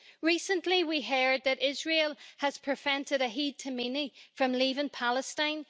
Recently we heard that Israel has prevented Ahed Tamimi from leaving Palestine.